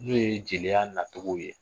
N'o ye jeliya nacogo ye.